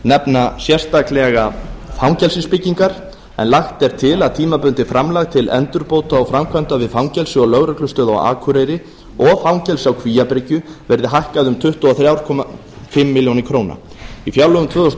nefna sérstaklega fangelsisbyggingar lagt er til að tímabundið framlag til endurbóta og framkvæmda við fangelsi og lögreglustöð á akureyri og fangelsi á kvíabryggju verði hækkað um tuttugu og þrjú og hálft ár í fjárlögum tvö þúsund